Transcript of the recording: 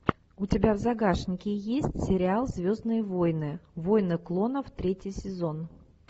у тебя в загашнике есть сериал звездные войны войны клонов третий сезон